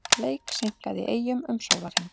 Leik seinkað í Eyjum um sólarhring